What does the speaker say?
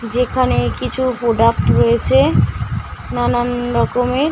যেখানে কিছু প্রোডাক্ট রয়েছে নানানরকমের।